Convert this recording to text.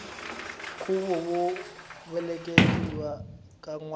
khuvo wo velekiwa ka nwana